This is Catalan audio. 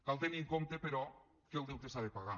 cal tenir en compte però que el deute s’ha de pagar